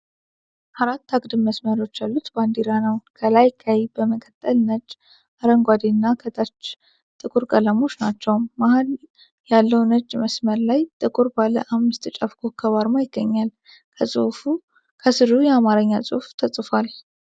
አራት አግድም መስመሮች ያሉት ባንዲራ ነው። ከላይ ቀይ፣ በመቀጠል ነጭ፣ አረንጓዴ እና ከታች ጥቁር ቀለሞች ናቸው። መሀል ያለው ነጭ መስመር ላይ ጥቁር ባለ አምስት ጫፍ ኮከብ አርማ ይገኛል። ከስሩ የአማርኛ ጽሑፍ ተፅፏል።